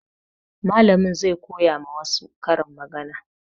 Mallamin zai koya ma na wa su karin magana